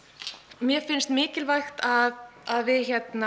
mér finnst mikilvægt að að við